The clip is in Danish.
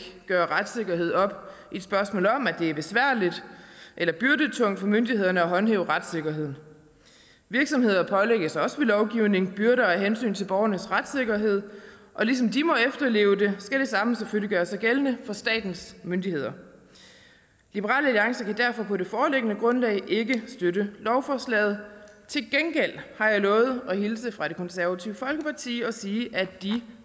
gøre retssikkerheden op i et spørgsmål om at det er besværligt eller byrdetungt for myndighederne at håndhæve retssikkerheden virksomheder pålægges også ved lovgivning byrder af hensyn til borgernes retssikkerhed og ligesom de må efterleve det skal det samme selvfølgelig gøre sig gældende for statens myndigheder liberal alliance kan derfor på det foreliggende grundlag ikke støtte lovforslaget til gengæld har jeg lovet at hilse fra det konservative folkeparti og sige at de